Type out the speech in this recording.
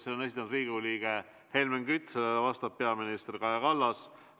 Selle on esitanud Riigikogu liige Helmen Kütt, vastab peaminister Kaja Kallas.